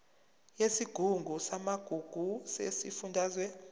yesigungu samagugu sesifundazwe